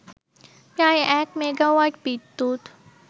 প্রায় এক মেগাওয়াট বিদ্যুৎ